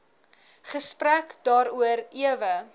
gesprek daaroor ewe